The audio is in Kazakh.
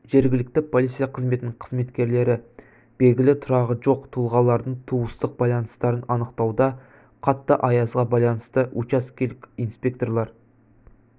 жергілікті полиция қызметінің қызметкерлері белгілі тұрағы жоқ тұлғалардың туыстық байланыстарын анықтауда қатты аязға байланысты учаскелік инспекторлар